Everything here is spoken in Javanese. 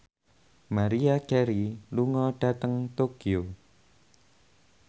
Maria Carey lunga dhateng Tokyo